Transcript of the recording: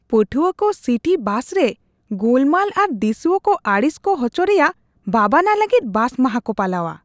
ᱯᱟᱴᱷᱩᱣᱟ ᱠᱚ city bus ᱨᱮ ᱜᱳᱞᱢᱟᱞ ᱟᱨ ᱫᱤᱥᱩᱣᱟᱹ ᱠᱚ ᱟᱹᱲᱤᱥ ᱠᱚ ᱦᱚᱪᱚ ᱨᱮᱭᱟᱜ ᱵᱟᱵᱟᱱᱟ ᱞᱟᱹᱜᱤᱫ ᱵᱟᱥ ᱢᱟᱦᱟ ᱠᱚ ᱯᱟᱞᱟᱣᱟ ᱾